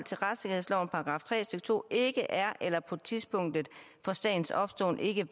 til to ikke er eller på tidspunktet for sagens opståen ikke